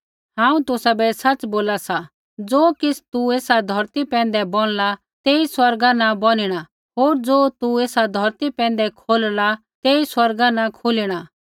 हांऊँ तुसाबै सच़ बोला सा ज़ो किछ़ तू एसा धौरती पैंधै बोनला तेई स्वर्गा न बोनिणा होर ज़ो तू एसा धौरती पैंधै खोलला तेई स्वर्गा न खोलिणा